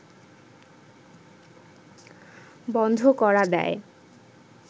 বন্ধ করা দেয়